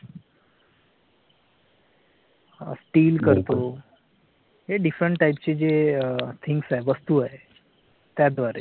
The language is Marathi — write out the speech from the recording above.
DEAL करतो हे different type चे जे things आहे. वस्तु आहे त्या द्वारे.